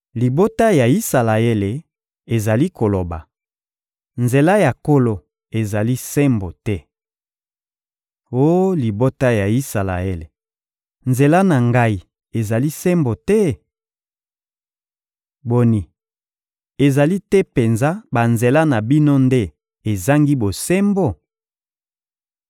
Libota ya Isalaele ezali koloba: ‹Nzela ya Nkolo ezali sembo te.› Oh libota ya Isalaele, nzela na Ngai ezali sembo te? Boni, ezali te penza banzela na bino nde ezangi bosembo?